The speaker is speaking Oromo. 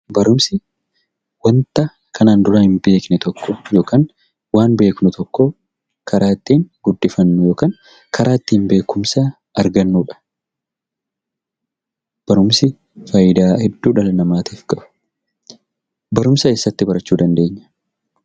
Barumsi waanta kanaan dura hin beekne tokko yookaan waan beeknu tokko karaa ittiin guddifannu yookiin karaa ittiin beekumsa argannudha. Barumsi fayidaa hedduu dhala namaatiif qaba. Barumsa eessatti barachuu dandeenya?